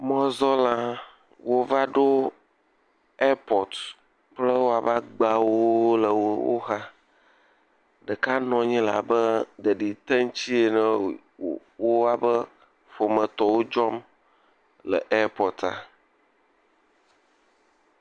Mɔzɔ̃lawo va ɖo ɛpɔti kple woƒe agbawo le wo xa. Ɖeka nɔ anyi la be ɖeɖi te ŋuti ene ye wo eƒe ƒometɔwo dzɔm le ɛpɔtia.